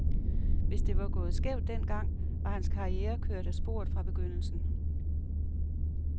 Hvis det var gået skævt den gang, var hans karriere kørt af sporet fra begyndelsen.